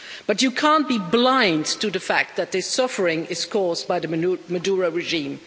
But you can't be blind to the fact that this suffering is caused by the Maduro regime.